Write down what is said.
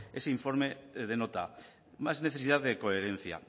ese informe denota más necesidad de coherencia